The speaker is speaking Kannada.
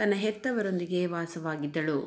ತನ್ನ ಹೆತ್ತವರೊಂದಿಗೆ ವಾಸವಾಗಿದ್ದಳು